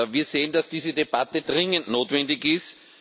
Wir sehen, dass diese Debatte dringend notwendig ist.